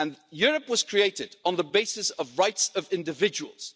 Europe was created on the basis of rights of individuals.